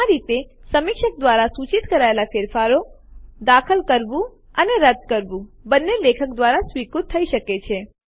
આ રીતે સમીક્ષક દ્વારા સૂચિત કરાયેલ ફેરફારો દાખલ કરવું અને રદ્દ કરવું બંને લેખક દ્વારા સ્વીકૃત થઇ શકે છે